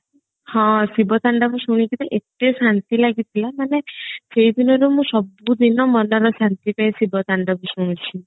ହଁ ଶିବ ତାଣ୍ଡବ ଶୁଣିକିରି ଏତେ ଶାନ୍ତି ଲାଗିଥିଲା ମାନେ ସେଇ ଦିନରୁ ମୁଁ ସବୁ ଦିନ ମନର ଶାନ୍ତି ପାଇଁ ଶିବ ତାଣ୍ଡବ ଶୁଣୁଛି